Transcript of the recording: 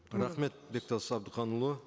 рахмет бектас әбдіханұлы